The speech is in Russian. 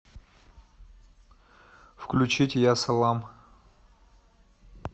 включить я салам